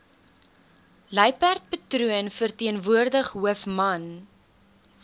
luiperdpatroon verteenwoordig hoofman